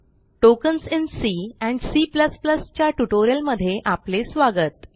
tokens in c and c plus plus च्या spoken ट्युटोरियलमध्ये आपले स्वागत